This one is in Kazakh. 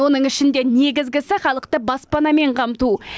оның ішінде негізгісі халықты баспанамен қамту